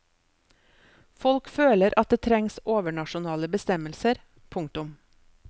Folk føler at det trengs overnasjonale bestemmelser. punktum